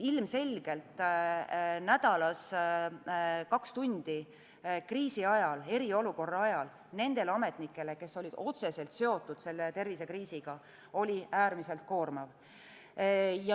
Ilmselgelt nädalas kaks tundi kriisi ajal, eriolukorra ajal, nendele ametnikele, kes olid otseselt seotud selle tervisekriisiga, oli äärmiselt koormav.